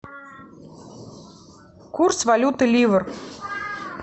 курс валюты ливр